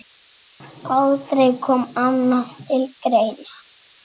Aldrei kom annað til greina.